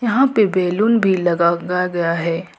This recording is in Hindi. यहां पे बैलून भी लगा गया है।